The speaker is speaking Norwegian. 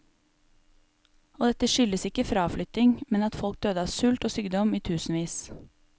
Og dette skyldes ikke fraflytting, men at folk døde av sult og sykdom i tusenvis.